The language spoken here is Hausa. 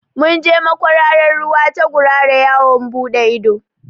Mun je makwararar ruwa ta gurara yawon buɗe ido